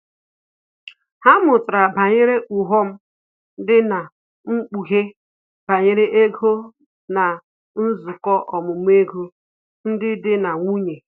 Ha mụtara banyere ughọm dị na mkpughe banyere ego na nzukọ ọmụmụ ego ndị dị na nwunye